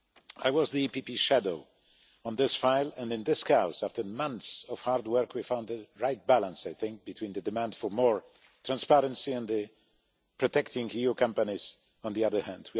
I was the PPE Shadow on this file and in this chaos, after months of hard work, we found the right balance, I think, between the demand for more transparency and protecting EU companies on the other hand.